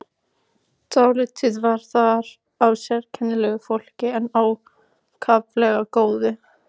Dálítið var þar af sérkennilegu fólki en ákaflega góðu.